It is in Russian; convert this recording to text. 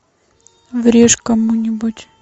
врежь кому нибудь